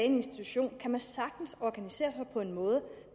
en institution kan man sagtens organisere sig på en måde